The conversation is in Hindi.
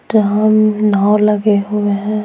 तो हम लगे हुए हैं।